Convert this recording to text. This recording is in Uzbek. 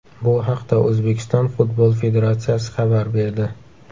Bu haqda O‘zbekiston Futbol federatsiyasi xabar berdi .